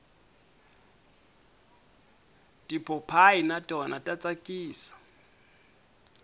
tipopayi na tona ta tsakisa